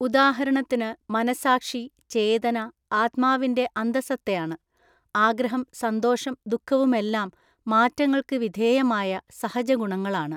ഉദാഹരണത്തിന് മനസ്സാക്ഷി, ചേതന, ആത്മാവിന്റെ അന്തസത്തയാണ്. ആഗ്രഹം സന്തോഷം ദുഃഖവുമെല്ലാം മാറ്റങ്ങൾക്ക് വിധേയമായ സഹജഗുണങ്ങളാണ്.